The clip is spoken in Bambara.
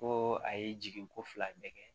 Ko a ye jigin ko fila bɛɛ kɛ